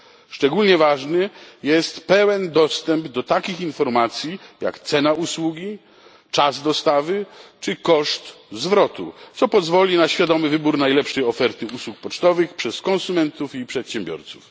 Szczególnie ważny jest pełen dostęp do takich informacji jak cena usługi, czas dostawy czy koszt zwrotu, co pozwoli na świadomy wybór najlepszej oferty usług pocztowych przez konsumentów i przedsiębiorców.